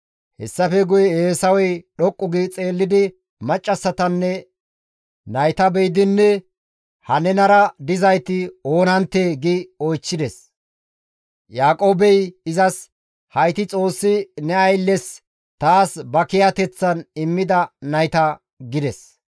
Hessafe guye Eesawey dhoqqu gi xeellidi maccassatanne nayta be7idi, «Ha nenara dizayti oonanttee?» gi oychchides. Yaaqoobey izas, «Hayti Xoossi ne aylles taas ba kiyateththan immida nayta» gides.